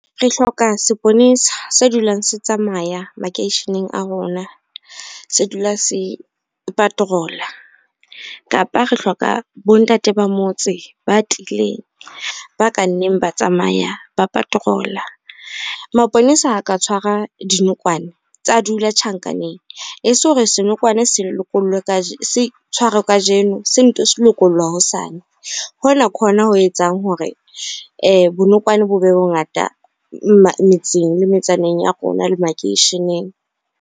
Re hloka seponesa se dulang se tsamaya makeisheneng a rona, se dula se patrol-a kapa re hloka bo ntate ba motse ba tiileng, ba ka nneng ba tsamaya ba patrol-a. Maponesa a ka tshwara dinokwane tsa dula tjhankaneng e se hore senokwane se tshwarwe kajeno, se nto se lokollwa hosane. Hona ke hona ho etsang hore bonokwane bo bongata metseng le metsaneng ya rona le makeisheneng.